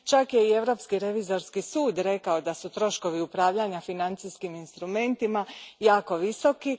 Čak je i Europski revizorski sud rekao da su troškovi upravljanja financijskim instrumentima jako visoki.